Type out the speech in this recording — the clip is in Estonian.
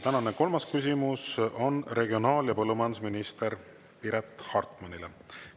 Tänane kolmas küsimus on regionaal‑ ja põllumajandusminister Piret Hartmanile.